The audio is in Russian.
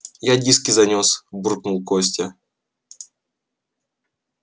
я диски занёс буркнул костя